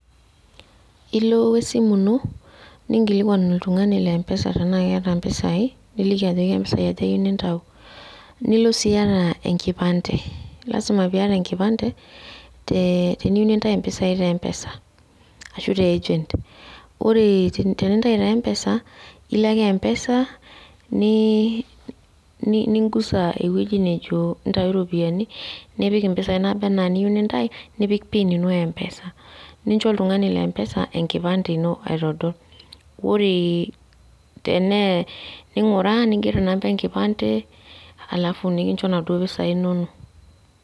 Nilo wesimu ino, ninkilikwan oltung'ani le M-PESA tenaa keeta mpisai, niliki ajoki ka mpisai aja iyieu nintau. Nilo si iyata enkipande. Lasima piata enkipande, teniyieu nintau mpisai te M-PESA ashu te agent. Ore tenintayu te M-PESA, ilo ake M-PESA, nigusa ewueji nejo ntayu ropiyiani, nipik impisai naa niyieu nintau, nipik PIN ino e M-PESA. Nincho oltung'ani le M-PESA enkipande ino aitodol. Ore tenee ning'uraa, niger inamba enkipande, alafu nikincho naduo pisai inono.